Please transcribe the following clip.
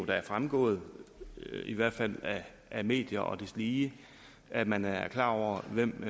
da er fremgået i hvert fald af medier og deslige at man er klar over hvem